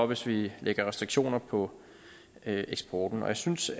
hvis vi lægger restriktioner på eksporten jeg synes